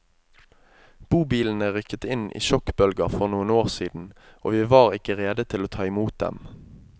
Bobilene rykket inn i sjokkbølger for noen år siden og vi var ikke rede til å ta i mot dem.